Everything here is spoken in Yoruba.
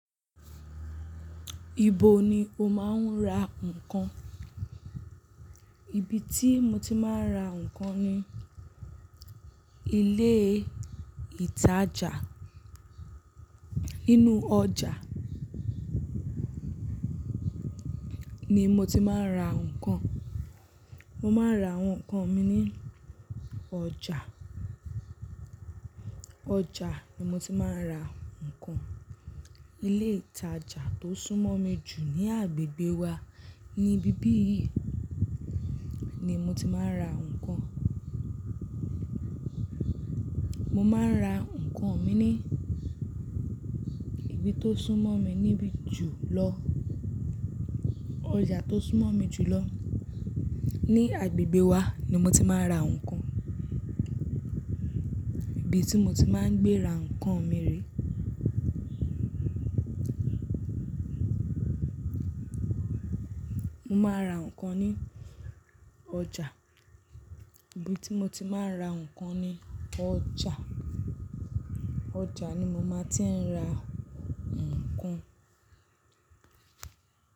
Ibo ni o máa ń ra nǹkan? Ibi tí mo ti máa ń ra nǹkan ni ilé ìtajà. Nínú ọjà ni mo ti máa ń ra nǹkan. Mo máa ń ra àwọn nǹkan mi ní ọjà. Ọjà ni mo ti máa ń ra nǹkan. Ilé ìtajà tó súnmọ́ mi jù ní agbègbè wa ni ibi bíì ní mo ti máa ń ra nǹkan. Mo máa ń ra nǹkan mi ní ibi tó súnmọ́ mi níbi jù lọ. Ọjà tó súnmọ́ mi jù lọ ní agbègbè wa ni mo ti máa ń ra nǹkan. Ibi tí mo ti máa ń gbé ra nǹkan mi rí. Mo máa ra nǹkan ní ọjà. Ibi tí mo ti máa ń ra nǹkan ni ọjà. Ọjà ni mo máa ti ń ra nǹkan.